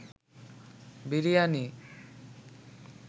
biryani